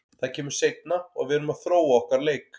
Það kemur seinna og við erum að þróa okkar leik.